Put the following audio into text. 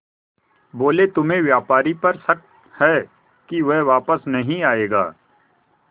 बोले तुम्हें व्यापारी पर शक है कि वह वापस नहीं आएगा